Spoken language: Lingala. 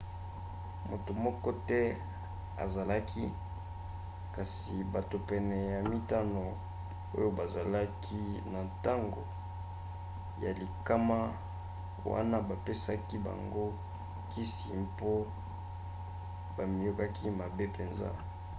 moto moko te azokaki kasi bato pene ya mitano oyo bazalaki na ntango ya likama wana bapesaki bango kisi mpo bamiyokaki mabe mpenza